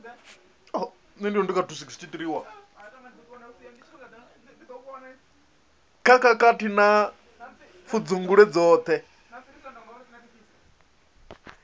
kha khakhathi na pfudzungule dzoṱhe